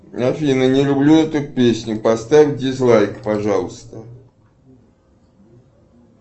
афина не люблю эту песню поставь дизлайк пожалуйста